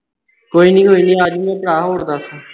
ਕੋਈ ਨਹੀਂ ਕੋਈ ਨਹੀਂ ਆ ਜਾਊਗਾ ਭਰਾ ਹੋਰ ਦੱਸ